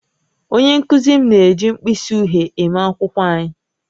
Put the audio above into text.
Onye nkụzi m na-eji mkpịsị uhie eme akwụkwọ anyị